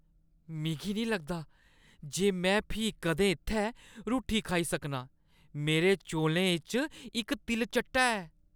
मिगी नेईं लगदा जे में फ्ही कदें इत्थै रुट्टी खाई सकनां, मेरे चौलें च इक तिलचट्टा ऐ।